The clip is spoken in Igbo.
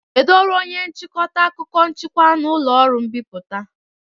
Kedu ọrụ onye nchịkọta akụkọ njikwa na ụlọ ọrụ mbipụta?